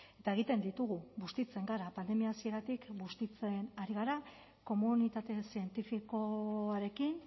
eta egiten ditugu bustitzen gara pandemia hasieratik bustitzen ari gara komunitate zientifikoarekin